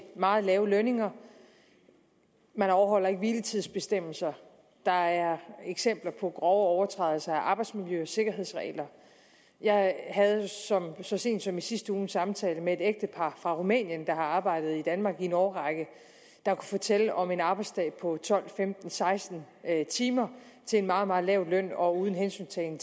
meget lave lønninger man overholder ikke hviletidsbestemmelser der er eksempler på grove overtrædelser af arbejdsmiljø og sikkerhedsregler jeg havde så sent som i sidste uge en samtale med et ægtepar fra rumænien der har arbejdet i danmark i en årrække der kunne fortælle om en arbejdsdag på tolv femten seksten timer til en meget meget lav løn og uden hensyntagen